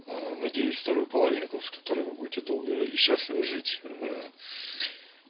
надеюсь вторую половинку с которой вы будете долго и счастливо жить